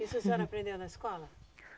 Isso a senhora aprendeu na escola?